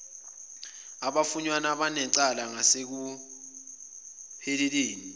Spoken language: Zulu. abafunyanwa benecala ngasekupheleni